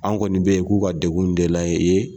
An kɔni bɛ yen k'u ka degun in de lajɛ i ye